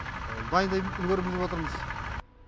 дайындаймыз үлгереміз деп отырмыз